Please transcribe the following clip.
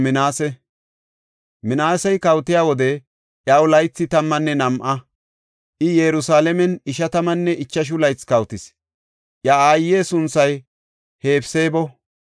Minaasey kawotiya wode iyaw laythi tammanne nam7a; I Yerusalaamen ishatammanne ichashu laythi kawotis; iya aaye sunthay Hefseebo.